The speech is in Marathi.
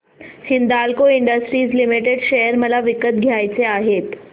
हिंदाल्को इंडस्ट्रीज लिमिटेड शेअर मला विकत घ्यायचे आहेत